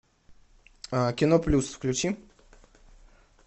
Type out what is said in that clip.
кино плюс включи